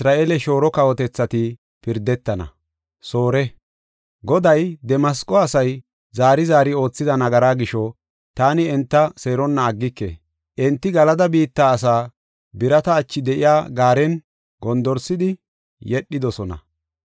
Goday, “Damasqo asay zaari zaari oothida nagaraa gisho, taani enta seeronna aggike. Enti Galada biitta asaa birata achi de7iya gaaren gondorsidi yedhidosona.